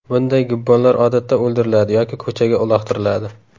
Bunday gibbonlar odatda o‘ldiriladi yoki ko‘chaga uloqtiriladi.